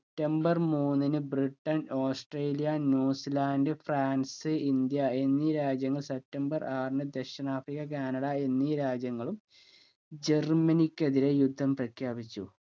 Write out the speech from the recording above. temper മൂന്നിന് Britain Australia New Zealand France India എന്നീ രാജ്യങ്ങൾ സെപ്റ്റംബർ ആറിന് ദക്ഷിണാഫ്രിക്ക കാനഡ എന്നീ രാജ്യങ്ങളും ജർമനിക്ക് എതിരെ യുദ്ധം പ്രഖ്യാപിച്ചു